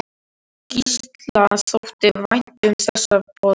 Gísla þótti vænt um þessa borg.